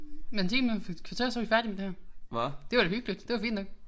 Men 10 minutter et kvarter så vi færdige med det her. Det var da hyggeligt det var fint nok